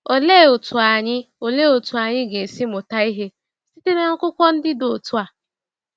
Olee otú anyị Olee otú anyị ga-esi mụta ihe site na akụkọ ndị dị otu a?